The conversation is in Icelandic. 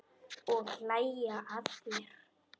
Og hlæja að þér.